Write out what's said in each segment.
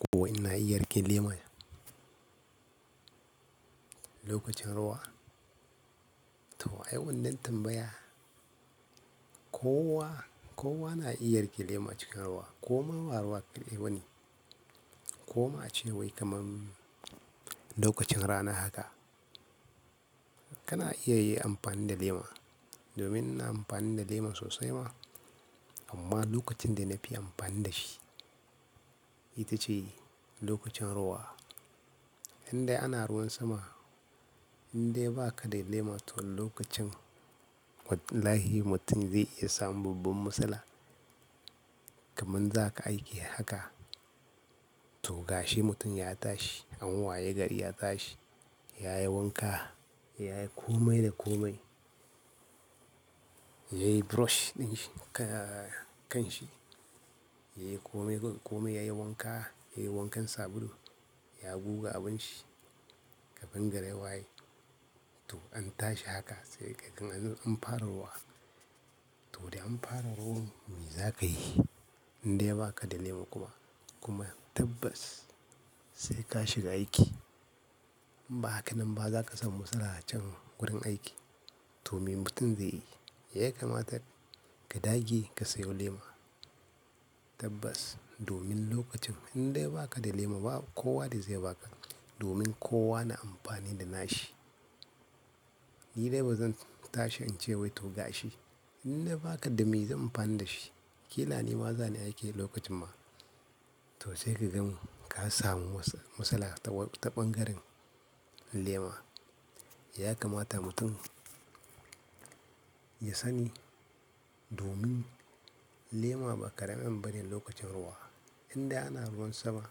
Ko wai ina iya riƙe lema. Lokacin ruwa, to ai wannan tambaya. Kowa, kowa na iya riƙe lema cikin ruwa. Koma ba ruwa kaɗai ba ne. Koma ace wai kaman lokacin rana haka kana iya yin amfani da lema domin ina amfani da lema sosai ma. Amma lokacin da na fi amfani da shi ita ce lokacin ruwa. Indai ana ruwan sama, indai ba ka da lema to lokacin wallahi mutum zai iya samun babban matsala. Kaman za ka aiki haka to gashi mutum ya tashi an waye gari ya tashi, ya yi wanka, ya yi komai da komai. Ya yi brush dinshi ka-kan shi, ya yi komai da komai, ya yi wanka, ya yi wankan sabulu, ya buga abinci kafin gari ya waye to an tashi haka sai kagan anzo an fara ruwa. To da an fara ruwan me za ka yi? Indai ba ka da lema kuma, kuma tabbas sai ka shiga aiki. In ba haka nan ba za ka samu matsala a can wurin aiki to me mutum zai yi, ya kamata ka dage ka sayo lema. Tabbas domin lokacin indai ba ka da lema ba kowa zai ba ka domin kowa na amfani da nashi. Ni dai ba zan tashi in ce wai to gashi. Indai ba ka da me zan yi amfani da shi. Kila nima zani aiki lokacin ma, to sai ka gan ka samu matsala taɓan garen lema. Ya kamata mutum ya sani domin lema ba ƙaramin abu bane lokacin ruwa. Indai ana ruwan sama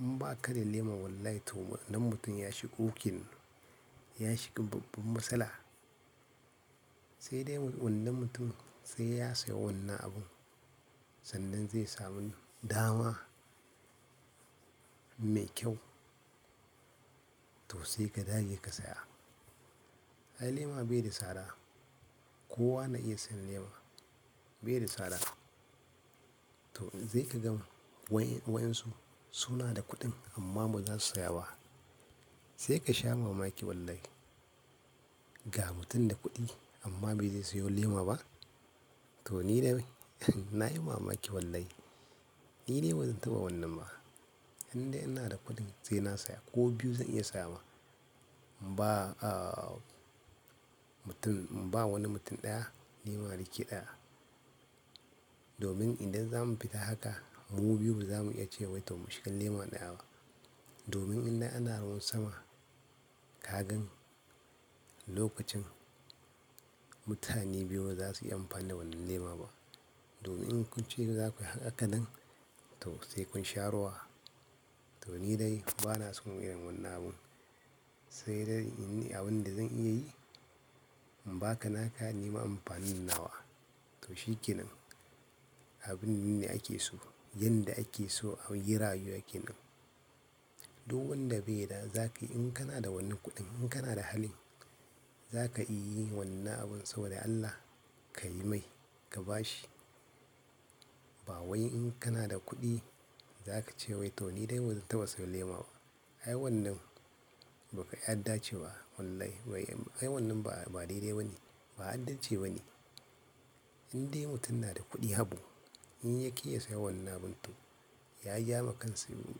in ba ka da lema wallahi to wannan mutum ya shiga uku kenan, ya shiga babban matsala. Sai dai wannan mutum sai ya saya wannan abun sannan zai samu dama mai kyau. To sai ka dage ka saya. Ai lema bai da tsada, kowa na iya sayan lema bai da tsada. To sai ka gan wa'yansu suna da kuɗin amma ba za su saya ba. Sai ka sha mamaki wallahi. Ga mutum da kuɗi amma ba zai sayo lema ba? To ni dai na yi mamaki wallahi. Ni dai ba zan taɓa wannan ba. Indai ina da kuɗin sai na saya ko biyu zan iya saya ma. In ba, aa mutum, in ba wani mutum ɗaya nima in rike ɗaya. Domin idan za mu fita haka, mu biyu ba za mu iya ce wai to mu shiga lema ɗaya ba. Domin indai ana ruwan sama ka gan lokacin mutane biyu ba za su yi amfani da wannan lema ba. Domin in kun ce za ku yi haka nan to sai kun sha ruwa. To ni dai ba na son irin wannan abun. Sai dai inyi abun da zan iya yi imbaka naka nima inyi amfani da nawa. To shi ke nan abun ne ake so. Yanda ake so a yi rayuwa ke nan. Duk wanda bai da za ka iya in kana da wannan kuɗin, in kana da halin za ka iya yi wannan abun saboda Allah ka yi mai, ka ba shi. Ba wai in kana da kuɗi za ka ce wai to ni dai ba zan taɓa sayo lema ba. Ai wannan ba kau ya dace ba wallahi wai Ai wannan ba, ba daidai ba ne, ba adalci ba ne. Indai mutum na da kuɗin abu in ya ƙi ya saya wannan abun to ya jama kansa ne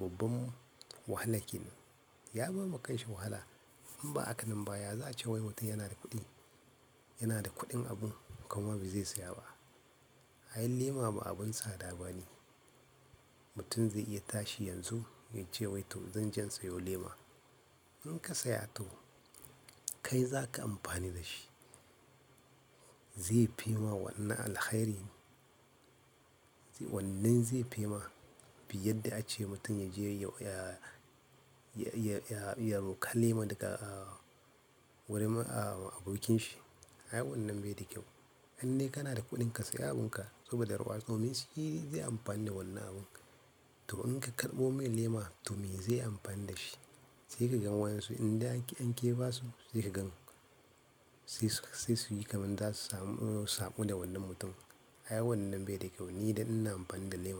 babban wahala kenan. Ya bar wa kanshi wahala. In bahaka nan ba ya za a ce wai mutum yana da kuɗi, yana da kuɗin abun kuma ba zai saya ba. Ai lema ba abun tsada ba ne. Mutum zai iya tashi yanzu ya ce wai to zan je in sayo lema. In ka saya to kai za ka yi amfani da shi. Zai fi ma wannan alkhairi. Wannan zai fi ma fiye da ace mutum ya je ya, ya, ya roƙa lema daga wurin abokinshi. Ai wannan bai da kyau. Indai kana da kuɗin kasai abunka saboda ruwa domin shi zai yi amfani da wannan abun? To in ka karɓo mai lema to me zai yi amfani da shi? Sai ka gan wa'yansu indai an ƙi an ƙiba su sai ka gan sai su yi kaman za su samu, samu da wannan mutum. Ai wannan bai da kyau, ni dai ina amfani da lema.